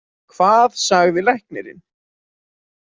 Hvað sagði læknirinn?